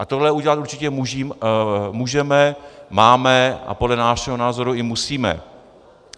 A tohle udělat určitě můžeme, máme a podle našeho názoru i musíme.